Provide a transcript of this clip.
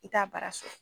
I t'a baara sɔrɔ